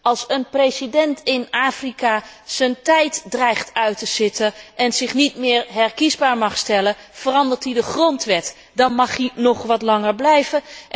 Als een president in Afrika zijn tijd dreigt uit te zitten en zich niet meer herkiesbaar mag stellen, verandert hij de grondwet, dan mag hij nog wat langer blijven.